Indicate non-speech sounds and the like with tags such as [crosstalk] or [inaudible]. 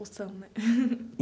Ou são, né? [laughs]